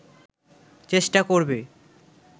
চেষ্টা করবে